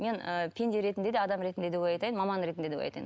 мен ы пенде ретінде де адам ретінде де ой айтайын маман ретінде де ой айтайын